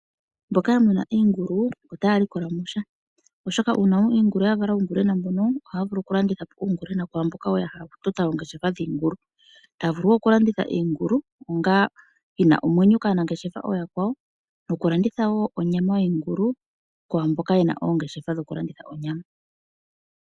Mboka ya muna iingulu otaaya likola mo sha oshoka uuna iingulu yawo ya vala uungulwena mbono ohaa vulu okulanditha po uungulwena kwaamboka woo ya hala okutota oongeshefa dhiingulu. Taya vulu woo okulanditha iingulu onga yi na omwenyo kaanangeshefa oyaakwawo nokulanditha woo onyama yoshingulu kwaamboka yena oongeshefa dhokulanditha onyama.